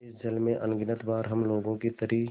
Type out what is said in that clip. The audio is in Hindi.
इस जल में अगणित बार हम लोगों की तरी